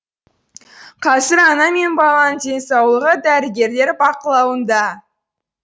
қазір ана мен баланың денсаулығы дәрігерлер бақылауында